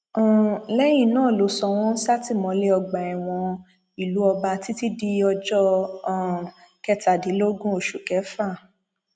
um lẹyìn náà ló sọ wọn sátìmọlé ọgbà ẹwọn ìlú ọba títí di ọjọ um kẹtàdínlógún oṣù kéfà